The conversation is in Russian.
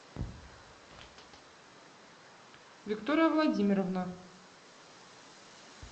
виктория владимировна